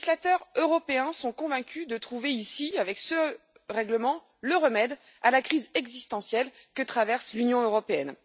Les législateurs européens sont convaincus de trouver ici, avec ce règlement, le remède à la crise existentielle que traverse l'Union européenne.